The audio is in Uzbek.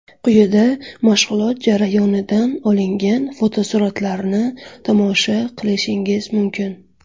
Quyida mashg‘ulot jarayonidan olingan fotosuratlarni tomosha qilishingiz mumkin.